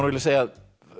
segja að